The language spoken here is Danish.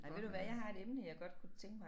Ej ved du hvad jeg har et emne jeg godt kunne tænke mig